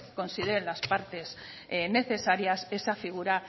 que consideren las partes necesarias esa figura